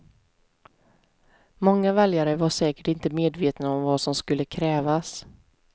Många väljare var säkert inte medvetna om vad som skulle krävas.